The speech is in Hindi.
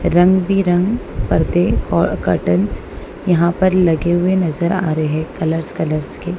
रंग बी रंग पर्दे कर्टंस यहां पर लगे हुए नजर आ रहे हैं कलर्स कलर्स के।